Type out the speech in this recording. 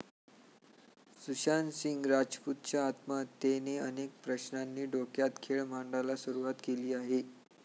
सुशांत सिंग राजपूतच्या आत्महत्येने अनेक प्रश्नांनी डोक्यात खेळ मांडायला सुरवात केली आहे.